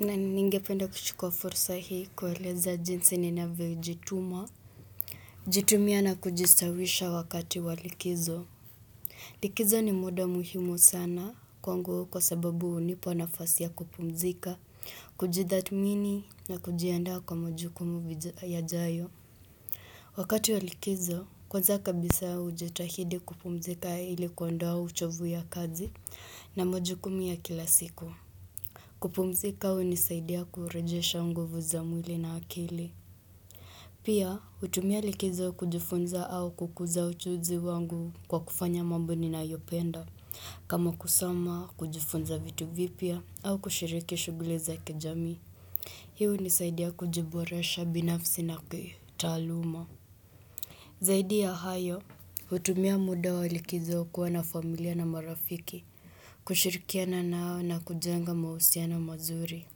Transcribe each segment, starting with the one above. Na ningependa kuchukuwa fursa hii kueleza jinsi ninavyojituma jitumia na kujistawisha wakati wa likizo Likizo ni muda muhimu sana kwangu kwa sababu hunipa nafasi ya kupumzika, kujidhatmini na kujiandaa kwa majukumu yajayo Wakati walikizo kwanza kabisa hujitahidi kupumzika ili kuondoa uchovu ya kazi na majukumu ya kila siku kupumzika hunisaidia kurejesha unguvu za mwili na akili. Pia hutumia likizo kujifunza au kukuza ujuzi wangu kwa kufanya mambo ninayopenda. Kama kusoma kujifunza vitu vipya au kushiriki shughuli za kijamii. Hii hunisaidia kujiboresha binafsi na kitaaluma. Zaidi ya hayo hutumia muda wa likizo kuwa na familia na marafiki. Kushirikiana nao na kujenga mahusiano mazuri.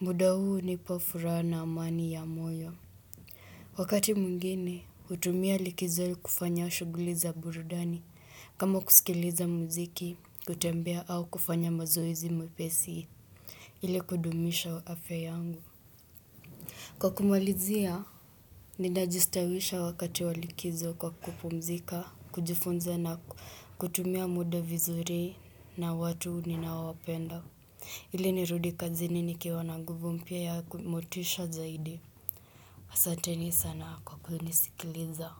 Muda huu hunipa furaha na amani ya moyo. Wakati mwingine, hutumia likizo kufanya shughuli za burudani kama kusikiliza mziki, kutembea au kufanya mazoezi mepesi. Ile kudumisha afya yangu. Kwa kumalizia, ninajistawisha wakati wa likizo kwa kupumzika, kujifunza na kutumia muda vizuri na watu ninaowapenda. Ile nirudi kazini nikwa na nguvu mpya yaku motisha zaidi Asateni sana kwa kunisikiliza.